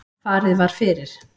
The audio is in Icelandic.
Farið var fyrir